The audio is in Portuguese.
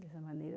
Dessa maneira.